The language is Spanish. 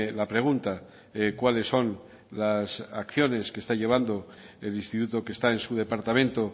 la pregunta cuáles son las acciones que está llevando el instituto que está en su departamento